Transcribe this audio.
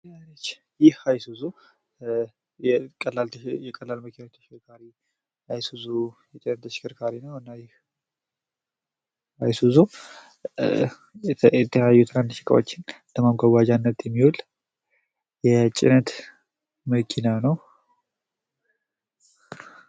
ይህ አይሱዙ የቀላል ጭነት መኪናዎች አይሱዙ ተሽከርካሪ ነው። እና ይህ አይሱዙ የተለያዩ ትንንሽ እቃዎችን ለማጓጓዣነት የሚዉል የጭነት መኪና ነው።